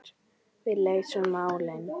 Við leysum málin.